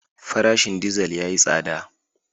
Farashin dizal yayi tsada.